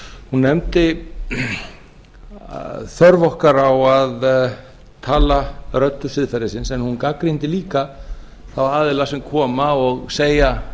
hún nefndi þörf okkar á að tala röddu siðferðisins en hún gagnrýndi líka þá aðila sem koma og segja